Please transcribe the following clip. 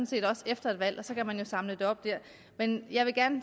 set også efter et valg og så kan man samle det op der men jeg vil